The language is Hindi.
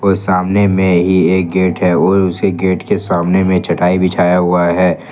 सामने में ही एक गेट है और उसी गेट के सामने में चटाई बिछाया हुआ है।